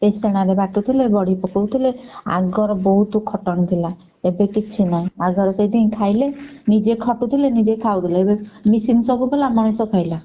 ନହେଲେ ବାଟୁଥିଲେ ବଡି ପକଉଥିଲେ ଆଗର ବହୁତ ଖଟଣି ଥିଲା ଏବେ କିଛି ନାଇଁ ଆଉ ଧର ଖାଇଲେ ନିଜେ ଖଟୁଥିଲେ ନିଜେ ଖାଉଥିଲେ ଏବେ machine ବାଲା ସବୁ ମଣିଷ ଖାଇଲା।